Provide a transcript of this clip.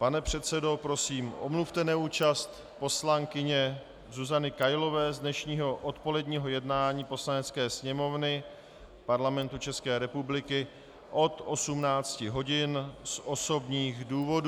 Pane předsedo, prosím omluvte neúčast poslankyně Zuzany Kailové z dnešního odpoledního jednání Poslanecké sněmovny Parlamentu České republiky od 18 hodin z osobních důvodů.